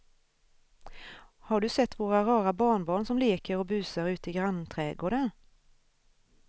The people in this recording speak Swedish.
Har du sett våra rara barnbarn som leker och busar ute i grannträdgården!